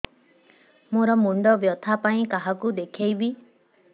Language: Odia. ମୋର ମୁଣ୍ଡ ବ୍ୟଥା ପାଇଁ କାହାକୁ ଦେଖେଇବି